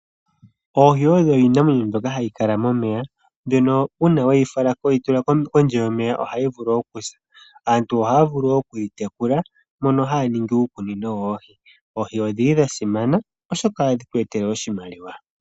Oohi odho iinamwenyo mbyoka hayi kala momeya mbyono uuna we yi tula kondje yomeya ohayi vulu okusa. Aantu ohaya vulu okuyitekula mono haya ningi uukunino woohi. Oohi odhili dha simana oshoka ohadhi tu etele oshimaliwa.